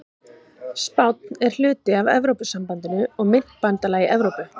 Spánn er hluti af Evrópusambandinu og myntbandalagi Evrópu.